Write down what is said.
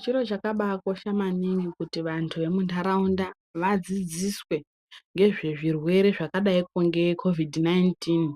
Chiro chakabakosha maningi kuti vantu vemuntaraunda vadzidziswe ngezvezvirwere zvakadaiko ngekhovhidhi nainitini